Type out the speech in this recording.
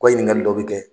Ko ɲininkali dɔ bɛ kɛ